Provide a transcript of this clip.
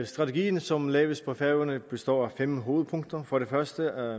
strategien som laves på færøerne består af fem hovedpunkter for det første